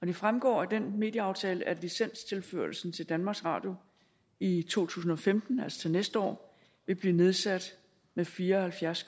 det fremgår af den medieaftale at licenstilførelsen til danmarks radio i to tusind og femten altså til næste år vil blive nedsat med fire og halvfjerds